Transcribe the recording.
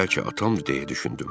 Bəlkə atamdır, deyə düşündüm.